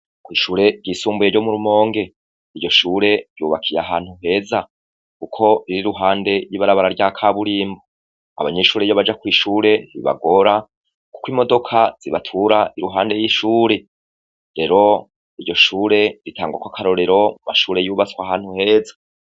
Kw'ishure ry'isumbuye ryo mu Rumonge. Iryo shure ryubakiye ahantu heza kuko biri ruhande y'ibarabara rya kaburimbo. Abanyeshuri iyo baja kw'ishure ntibagora kuko imodoka zibatura iruhande y'ishure rero iryo shure ritangwa kw'akarorero mashure yubatswe ahantu heza.